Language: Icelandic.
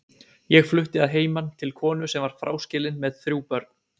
Ég flutti að heiman til konu sem var fráskilin með þrjú börn.